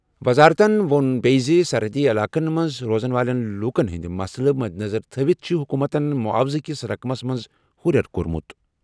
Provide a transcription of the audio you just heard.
وزارتَن ووٚن بیٚیہِ زِ سرحدی علاقَن منٛز روزَن وٲلۍ لوٗکَن ہٕنٛدۍ مسلہٕ مدنظر تھٲوِتھ چھِ حکوٗمتَن معاوضہٕ کِس رقمَس منٛز ہُرٮ۪ر کوٚرمُت۔